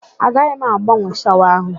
Agaghị m agbanwe shawa áhụ̀.